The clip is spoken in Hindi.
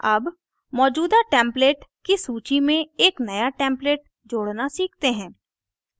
add मौजूदा template की सूची में एक now template जोड़ना सीखते हैं